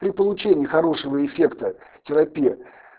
при получении хорошего эффекта терапия